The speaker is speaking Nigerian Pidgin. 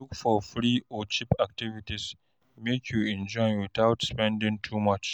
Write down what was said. Look for free or cheap activities, make you enjoy witout spending too much.